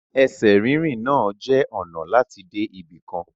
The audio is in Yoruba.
Ẹsẹ̀ rínrìn náà je ọnà lati dé ibìkan